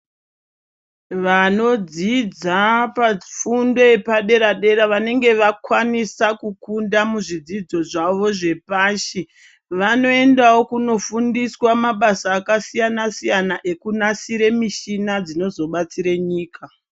Vanodzidza pafundo yepadera-dera vanenge vakwanisa kukunda muzvidzidzo zvavo zvepashi, vanoendawo kunofundiswa mabasa akasiyana-siyana ekunasire mishina dzinozobatsire nyika.